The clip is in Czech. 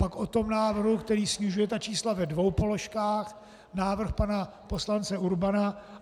Pak o tom návrhu, který snižuje ta čísla ve dvou položkách, návrh pana poslance Urbana.